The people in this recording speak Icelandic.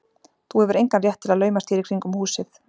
Þú hefur engan rétt til að laumast hér í kringum húsið.